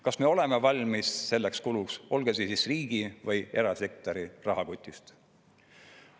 Kas me oleme valmis selleks kuluks, olgu see siis riigi või erasektori rahakotist?